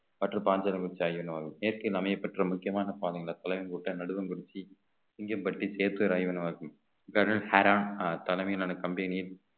மற்றும் பாஞ்சரமிச்சாகிய இயற்கையின் அமையப்பெற்ற முக்கியமான பாதையில தொலைவு மூட்டை நடுங்குறிச்சி சிங்கம்பட்டி சேத்து ராய வனவாக்கம் தலைமையிலான company யில்